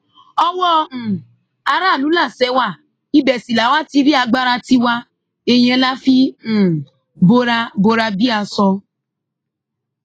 ọwọ́ um aráàlú làṣẹ wa ibẹ sì làwa ti rí agbára tiwa èèyàn la fi um bora bora bíi aṣọ